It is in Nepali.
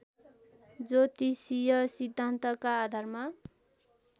ज्योतिषीय सिद्धान्तका आधारमा